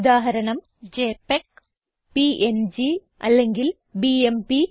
ഉദാഹരണം JPEG PNG അല്ലെങ്കിൽ BMP